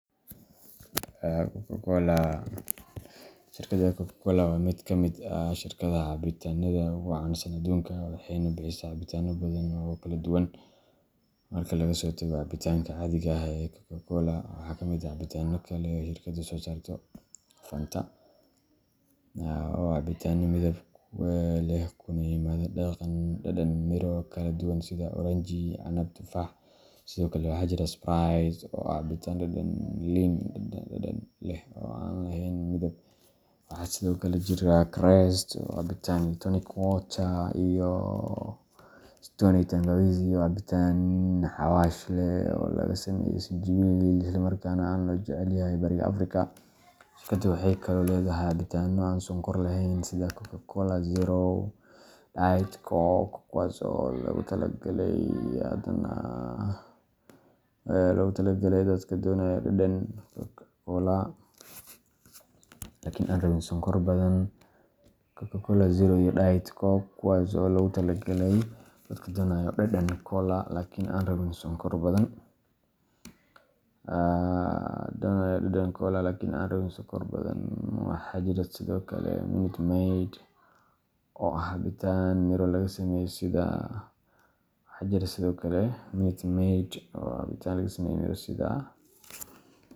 Shirkadda Coca-Cola waa mid ka mid ah shirkadaha cabitaannada ugu caansan adduunka, waxayna bixisaa cabitaanno badan oo kala duwan marka laga soo tago cabitaanka caadiga ah ee Coca-Cola. Waxaa ka mid ah cabitaannada kale ee shirkaddu soo saarto Fanta, oo ah cabitaan midab leh kuna yimaada dhadhan miro kala duwan sida oranji, canab iyo tufaax. Sidoo kale, waxaa jira Sprite oo ah cabitaan dhadhan liin dhanaan leh oo aan lahayn midab. Waxaa kaloo jira Krest oo ah cabitaan ah tonic water, iyo Stoney Tangawizi oo ah cabitaan xawaash leh oo laga sameeyay sinjibiil, islamarkaana aad loo jecel yahay bariga Afrika. Shirkaddu waxay kaloo leedahay cabitaanno aan sonkor lahayn sida Coca-Cola Zero iyo Diet Coke, kuwaas oo loogu talagalay dadka doonaya dhadhan cola laakiin aan rabin sonkor badan. Waxaa jira sidoo kale Minute Maid, oo ah cabitaan miro laga sameeyay sida.